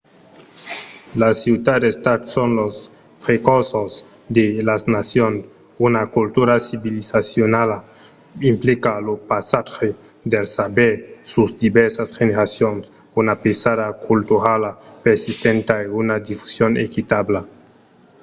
las ciutats-estats son los precursors de las nacions. una cultura civilizacionala implica lo passatge del saber sus divèrsas generacions una pesada culturala persistenta e una difusion equitabla